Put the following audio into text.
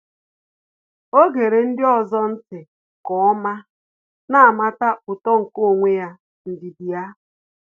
Ọ́ gere ndị ọzọ̀ ntị́ nke ọ́ma, nà-àmàtà uto nke onwe ya n’ndidi ya.